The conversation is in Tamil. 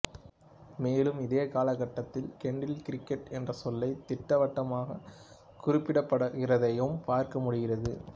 மேலும் இதே கால கட்டத்தில் கெண்டில் கிரிக்கெட் என்ற சொல்லை திட்டவட்டமாக குறிப்பிடப்படப்படுகிறதையும் பார்க்க முடிகிறது